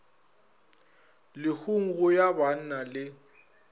lehung go ya banna le